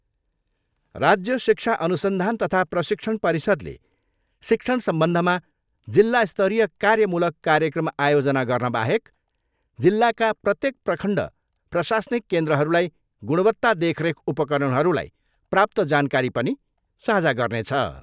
राज्य शिक्षा अनुसन्धान तथा प्रशिक्षण परिषदले शिक्षण सम्बन्धमा जिल्ला स्तरीय कार्यमूलक कार्यक्रम आयोजना गर्नबाहेक जिल्लाका प्रत्येक प्रखण्ड प्रशासनिक केन्द्रहरूलाई गुणवत्ता देखरेख उपकरणहरूलाई प्राप्त जानकारी पनि साझा गर्नेछ।